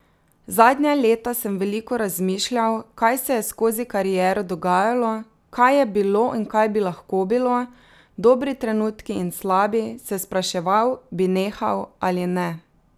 Zadnja leta sem veliko razmišljal, kaj se je skozi kariero dogajalo, kaj je bilo in kaj bi lahko bilo, dobri trenutki in slabi, se spraševal, bi nehal ali ne.